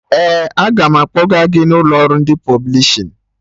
Ee, aga m akpọga gị n'ụlọ ọrụ ndị pọblishin